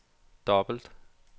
dobbelt